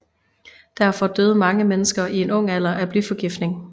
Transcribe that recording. Derfor døde mange mennesker i en ung alder af blyforgiftning